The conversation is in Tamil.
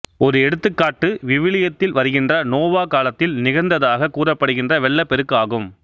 ஒரு எடுத்துக்காட்டு விவிலியத்தில் வருகின்ற நோவா காலத்தில் நிகழ்ந்ததாகக் கூறப்படுகின்ற வெள்ளப் பெருக்கு ஆகும்